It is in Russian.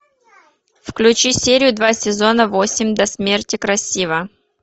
включи серию два сезона восемь до смерти красиво